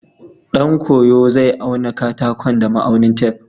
Ɗan koyo zai auna katakon da ma'aunin tef.